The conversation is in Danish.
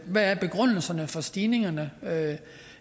hvad er begrundelserne for stigningerne